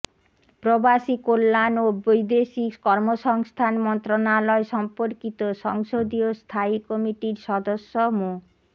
প্রবাসী কল্যাণ ও বৈদেশিক কর্মসংস্থান মন্ত্রণালয় সম্পর্কিত সংসদীয় স্থায়ী কমিটির সদস্য মো